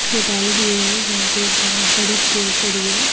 Hotel भी हुए है जहां पे ये बहोत बड़ी चेयर पड़ी है।